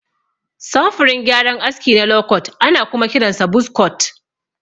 Samfurin gyaran aski na lokot ana kuma kiransa buz kot.